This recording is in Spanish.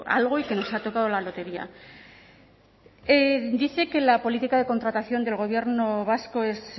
algo y que nos ha tocado la lotería dice que la política de contratación del gobierno vasco es